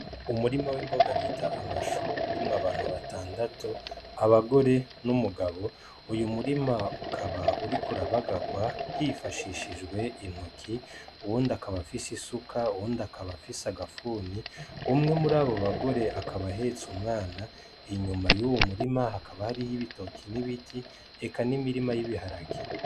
Umurima w'imboga bita amashu urimwo abantu batandatu abagore n'umugabo, uyu murima ukaba uriko urabagagwa hifashishijwe intoki uwundi akaba afise isuka, uwundi akaba afise agafuni, umwe murabo bagore akaba ahetse umwana inyuma yuwo murima hakaba hariho ibitoki n'ibiti eka n'imirima y'ibiharage.